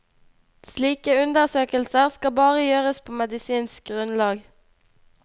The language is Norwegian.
Slike undersøkelser skal bare gjøres på medisinsk grunnlag.